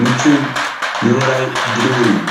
ምቹእን ንውራይ ድሉውን እዩ።